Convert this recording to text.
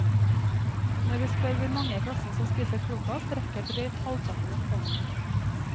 Når vi spør hvor mange i klassen som spiser frokost, rekker drøyt halvparten opp hånden.